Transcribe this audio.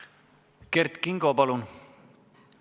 Kert Kingo, palun!